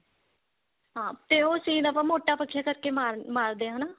ਹਾਂ ਤੇ ਉਹ ਸੀਨ ਆਪਾਂ ਮੋਟਾ ਬਖਿਆ ਕਰਕੇ ਮਾਰ ਮਾਰਦੇ ਹਾਂ ਹਨਾ